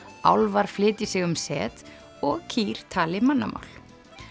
álfar flytji sig um set og kýr tali mannamál